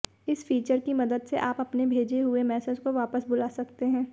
इस फीचर की मदद से आप अपने भेजे हुए मैसेज को वापस बुला सकते हैं